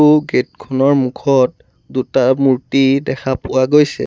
আৰু গেট খনৰ মুখত দুটা মূৰ্ত্তি দেখা পোৱা গৈছে।